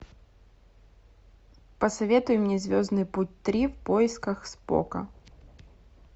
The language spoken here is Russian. посоветуй мне звездный путь три в поисках спока